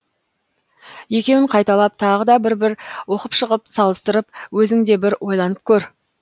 екеуін қайталап тағы да бір бір оқып шығып салыстырып өзің де бір ойланып көр